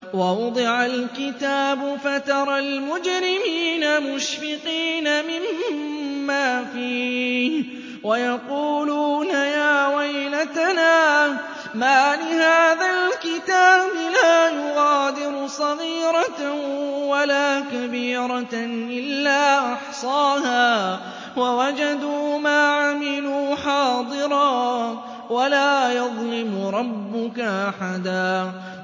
وَوُضِعَ الْكِتَابُ فَتَرَى الْمُجْرِمِينَ مُشْفِقِينَ مِمَّا فِيهِ وَيَقُولُونَ يَا وَيْلَتَنَا مَالِ هَٰذَا الْكِتَابِ لَا يُغَادِرُ صَغِيرَةً وَلَا كَبِيرَةً إِلَّا أَحْصَاهَا ۚ وَوَجَدُوا مَا عَمِلُوا حَاضِرًا ۗ وَلَا يَظْلِمُ رَبُّكَ أَحَدًا